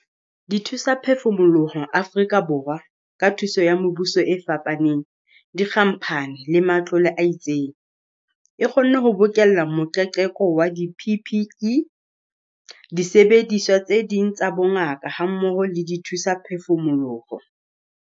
Dithusaphefumoloho Afrika Borwa, ka thuso ya mebuso e fapaneng, dikhamphane le matlole a itseng, e kgonne ho bokella moqeqeko wa di-PPE, disebediswa tse ding tsa bongaka hammoho le dithusaphefumoloho.